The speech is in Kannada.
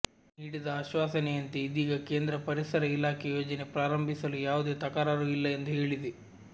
ನೀಡಿದ ಆಶ್ವಾಸನೆಯಂತೆ ಇದೀಗ ಕೇಂದ್ರ ಪರಿಸರ ಇಲಾಖೆ ಯೋಜನೆ ಪ್ರಾರಂಭಿಸಲು ಯಾವುದೇ ತಕರಾರು ಇಲ್ಲ ಎಂದು ಹೇಳಿದೆ